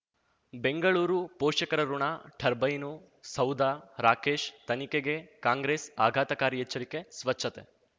ಬೆಂಗಳೂರು ಪೋಷಕರಋಣ ಟರ್ಬೈನು ಸೌಧ ರಾಕೇಶ್ ತನಿಖೆಗೆ ಕಾಂಗ್ರೆಸ್ ಆಘಾತಕಾರಿ ಎಚ್ಚರಿಕೆ ಸ್ವಚ್ಛತೆ